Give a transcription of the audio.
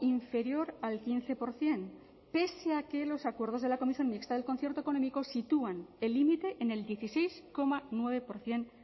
inferior al quince por ciento pese a que los acuerdos de la comisión mixta del concierto económico sitúan el límite en el dieciséis coma nueve por ciento